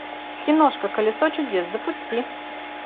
киношка колесо чудес запусти